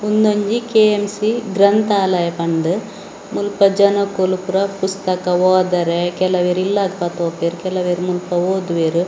ಉನ್ನೊಂಜಿ KMC ಗ್ರಂಥಾಲಯ ಪನ್ನ್ದ್‌ ಮುಲ್ಪ ಜನಕ್ಕುಲು ಪೂರ ಪುಸ್ತಕ ಓದರೆ ಕೆಲವೆರ್‌ ಇಲ್ಲಾದ್‌ ಪತ್ತೋಪೆರ್‌ ಕೆಲವೆರ್‌ ಮುಲ್ಪ ಓದುವೆರ್.